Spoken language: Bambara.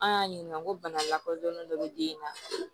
An y'a ɲininka ko bana lakɔdɔnnen dɔ bɛ den in na